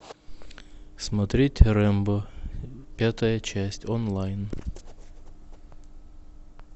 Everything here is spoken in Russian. смотреть рэмбо пятая часть онлайн